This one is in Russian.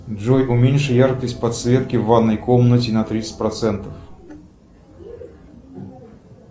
джой уменьши яркость подсветки в ванной комнате на тридцать процентов